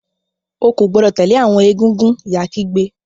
O ko gbọdọ tẹle awọn egúngún! ìyá kígbe.